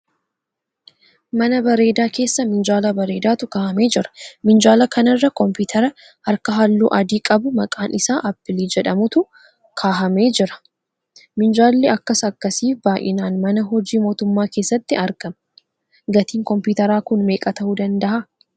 Mana bareedaa keessa minjaala bareedaatu kahamee jira. Minjaala kanarra kompiteera harkaa halluu adii qabu maqaan isaa Aappilii jedhamatu kahamee jira. Minjaalli akkas akkasii baayinaan mana hojii mootummaa keessatti argama. Gatiin kompiteeraa kun meeqaa tahuu dandahalaa?